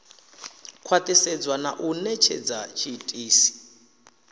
khwathisedzwa na u netshedza tshiitisi